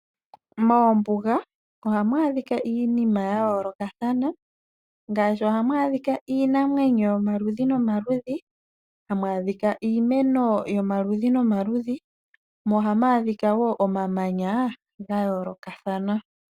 Moombuga ohamu adhika iinima yayoolokatahana ngaashi ohamu adhika iinamwneyo yomaludhi nomaludhi, hamu adhika iimeno yomaludhi nomaludhi mo ohamu adhika wo omamanya ga yoolokathana.